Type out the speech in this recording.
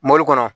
Mori kɔnɔ